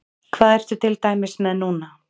Hvað ertu til dæmis með núna?